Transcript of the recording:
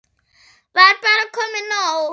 Var bara komið nóg?